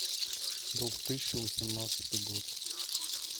двух тысячи восемнадцатый год